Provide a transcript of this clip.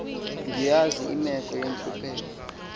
ndiyayazi imeko yentlupheko